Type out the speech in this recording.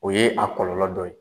O ye a kɔlɔlɔ dɔ ye